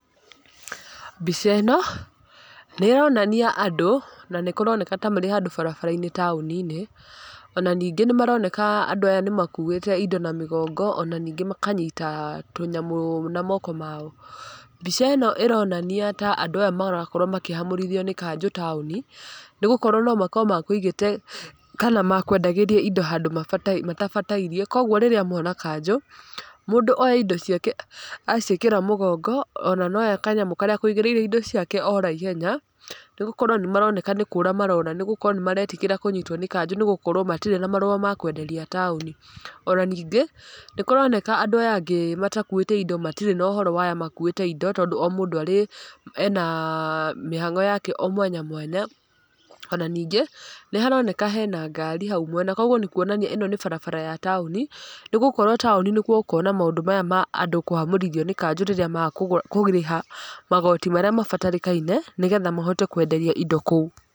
Mbica ĩno nĩronania andũ na nĩ kũroneka tamarĩ handũ barabara-inĩ taũninĩ, ona ningĩ nĩ maroneka andũ aya nĩ makuĩte indo na mĩgongo, ona ningĩ makanyita tũnyamũ na moko mao, mbica ĩno ĩronania ta andũ aya marakorwo makĩhamũrithio nĩ kanjũ taũni, nĩ gũkorwo nomakorwo mekũigĩte, kana mekwendagúĩria indo handũ maba matabatairie, koguo rĩrĩa mona kanjũ, mũndũ oya indo ciake acĩkĩre mũgongo, ona noya kanyamũ karĩa ekũigĩrĩire indo ciake ora ihenya, nĩ gũkorwo nĩ maroneka nĩ kũra marora, nĩ gũkorwo nĩ maretigĩra kũnyikotwo nĩ kanjũ, nĩ gũkorwo matirĩ na marũa makwenderia taũni, ona ningĩ nĩ kũroneka andũ aya angĩ matakuĩte indo matirĩ nohoro waya makuĩte indo, tondũ o mũndũ arĩ, ena mĩhango yake o mwanya mwanya, ona ningĩ nĩ haroneka hena ngari hau mwena, koguo nĩ kuonania ĩno nĩ barabara ya taũni, nĩ gũkorwo taũni nĩkuo gũkoragwo na maũndũ maya ma andũ kũhamũrithio nĩ kanjũ rĩrĩa maga kũgũ kũrĩha magoti marĩa mabatarĩkaine, nĩgetha mahote kwenderia indo kũu.